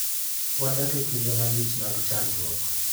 Wadak e kinde malich mag chandruok.